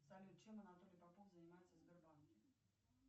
салют чем анатолий попов занимается в сбербанке